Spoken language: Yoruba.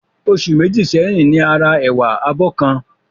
Oṣù Méjì sẹ́yìn ni a ra ẹ̀wà abọ́ kan